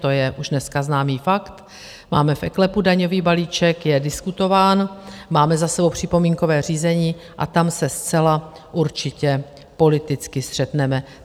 To je už dneska známý fakt, máme v eKLEPu daňový balíček, je diskutován, máme za sebou připomínkové řízení a tam se zcela určitě politicky střetneme.